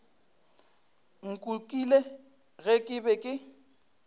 nkukile ge ke be ke